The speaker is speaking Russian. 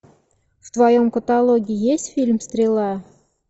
в твоем каталоге есть фильм стрела